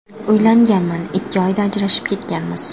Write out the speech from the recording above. Uylanganman, ikki oyda ajrashib ketganmiz.